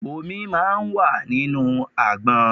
Omi máa ń wà nínú àgbọn.